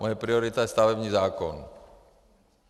Moje priorita je stavební zákon.